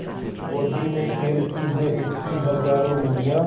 गोदी में खेलती हैं इसकी हज़ारों नदियाँ